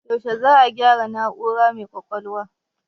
Yaushe za a gyaro na'ura mai ƙwaƙwalwan?